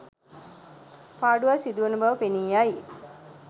පාඩුවක් සිදුවන බව පෙනී යයි.